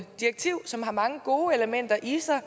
direktiv som har mange gode elementer i sig